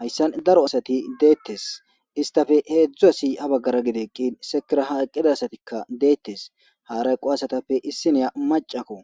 hayssan daro asati deettes istafe heedzdzu asi a baggara gideeqqin sekiraha eqqida asatikka deettes harayqo asatappe issineya macakko